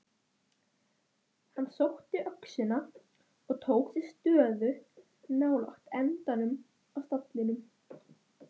SOPHUS: Við vitum það ekki.